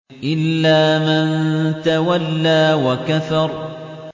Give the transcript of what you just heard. إِلَّا مَن تَوَلَّىٰ وَكَفَرَ